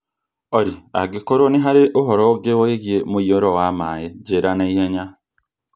Olly, angĩkorwo nĩ harĩ ũhoro ũngĩ wĩgiĩ mũiyũro wa maĩ-rĩ, njĩĩra na ihenya